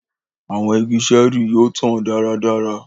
Àwọn ìgi ṣẹẹri yóò tàn dáradára